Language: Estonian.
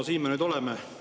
No siin me nüüd oleme.